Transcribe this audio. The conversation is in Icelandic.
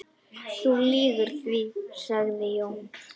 Þú lýgur því, sagði Jón.